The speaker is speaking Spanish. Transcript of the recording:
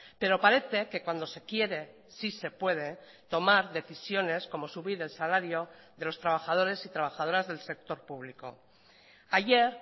pero parece que cuando se quiere sí se puede tomar decisiones como subir el salario de los trabajadores y trabajadoras del sector público ayer